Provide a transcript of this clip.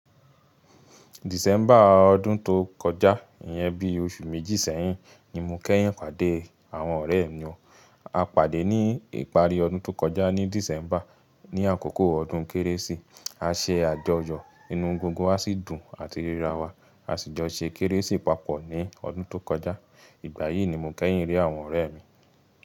December ọdún tó kọjá, ìyẹn bí oṣù méjì sẹ́yìn ni mo kẹ́yìn pàdé àwọn ọ̀rẹ́ mi. A pàdé ní ìparí ọdún tó kọjá ní December, ní àkókò ọdún Kérésì. A ṣe àjọyọ̀ inú gbongbo, a sì dùn làti ríra wa. A sì jọ ṣe Kérésì papọ̀ ní ọdún tó kọjá. Ìgbà yìí ni mo kẹ́yìn rí àwọn ọ̀rẹ́ mi.